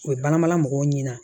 O ye baramala mɔgɔw ɲɛna